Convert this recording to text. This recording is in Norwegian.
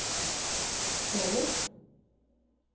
senest